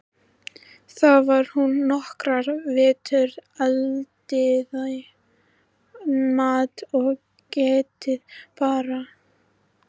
Þar var hún nokkra vetur, eldaði mat og gætti barna.